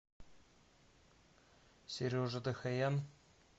сережа дохоян